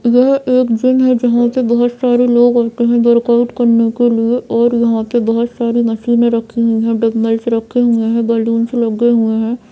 यह एक जिम है जहाँ पे बहोत सारे लोग आते हैं वर्कआउट करने के लिए और यहाँ पे बहोत सारी मशीनें रखी हुई है डंबल्स रखे हुए हैं बलूंस लगे हुए हैं।